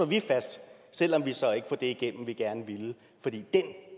vi fast selv om vi så ikke får det igennem